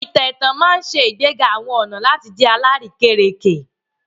Àwọn ìtàn ẹ̀tàn ma n ṣe ìgbéga àwọn ọna láti jẹ àrékérekè